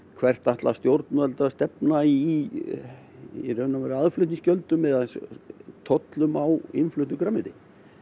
hvert ætla stjórnvöld að stefna í aðflutningsgjöldum og tollum á innfluttu grænmeti